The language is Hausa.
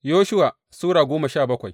Yoshuwa Sura goma sha bakwai